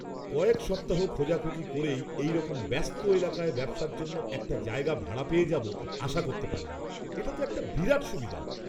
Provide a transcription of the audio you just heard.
কয়েক সপ্তাহ খোঁজাখুঁজি করেই এইরকম ব্যস্ত এলাকায় ব্যবসার জন্য একটা জায়গা ভাড়া পেয়ে যাব আশা করতে পারিনি, এটা তো একটা বিরাট সুবিধা!